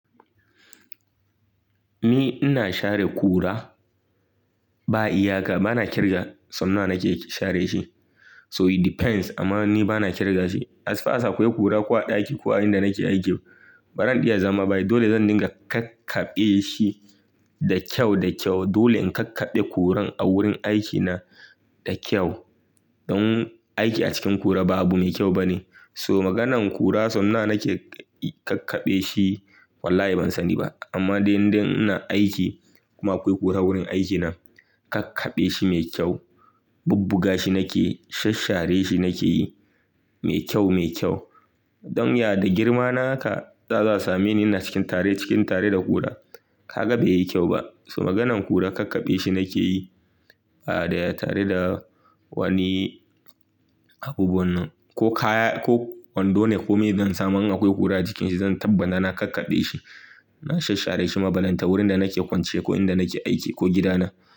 Ni ina share kura ba iyaka, bana kirga sau nawa nake share shi. So it depends amma ni bana kirga shi. As far as akwai kura ko a ɗaki ko a inda nake aiki, baran iya zama ba. Dole zan dinga kakkaɓe shi da kyau da kyau. Dole in kakkaɓe kuran a wurin aikina da kyau don aiki a cikin kura ba abu mai kyau ba ne. So maganan kura sau nawa nake kakkaɓe shi wallahi ban sani ba. Amma dai inda ina aiki kuma akwai kura wurin aikina kakkaɓe shi mai kyau, bubbuga shi nake yi, shasshare shi nake yi mai kyau, mai kyau. Don ya da girma naka za su same ni ina cikin tare, cikin tare da kura. Kaga bai yi kyau ba. So maganan kura kakkaɓe shi nake yi a daya tare da wani abubuwannan ko kaya ko kwando ne ko me zan samu in akwai kura jikin shi zan tabbana na kakkaɓe shi. Na shasshare shi balenta wurin da nake kwance ko inda nake aiki ko gidana.